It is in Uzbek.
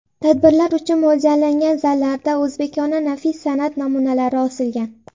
Tadbirlar uchun mo‘ljallangan zallarda o‘zbekona nafis san’at namunalari osilgan.